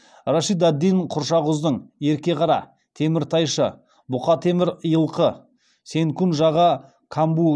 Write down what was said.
рашид ад дин құршақұздың ерке қара теміртайшы бұқа темір илқы сенкун жаға камбұ